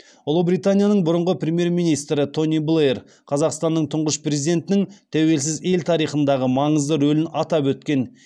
ұлыбританияның бұрынғы премьер министрі тони блэйр қазақстанның тұңғыш президентінің тәуелсіз ел тарихындағы маңызды рөлін атап өткен